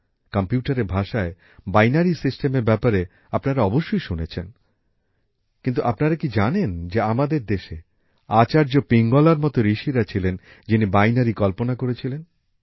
কম্পিউটারের ভাষায় বাইনারী সিস্টেমের ব্যাপারে আপনারা অবশ্যই শুনেছেন কিন্তু আপনারা কি জানেন যে আমাদের দেশে আচার্য পিঙ্গলার মত ঋষিরা ছিলেন যিনি বাইনারি কল্পনা করেছিলেন